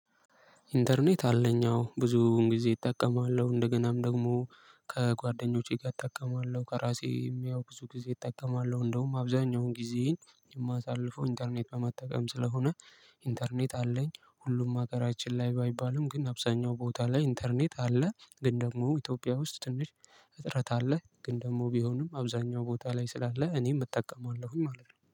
ኢንተርኔት አለኝ አዎ ብዙውን ጊዜ እጠቀማለሁ እንደገናም ደግሞ ከጓደኞቼ ጋር እጠቀማለሁ ከራሴም ብዙ ጊዜ እጠቀማለሁ እንደውም አብዛኛውን ጊዜ የማሳልፈው ኢንተርኔት በመጠቀም ስለሆነ። ኢንተርኔት አለኝ ሁሉም ሀገራችን ላይ ባይባልም ግን አብዛኛው ቦታ ላይ ኢንተርኔት አለ። ግን ደግሞ ኢትዮጵያ ውስጥ ትንሽ እጥረት አለ። ግን ደግሞ ቢሆንም አብዛኛው ቦታ ላይ ስላለ እኔም እጠቀማለሁኝ ማለት ነው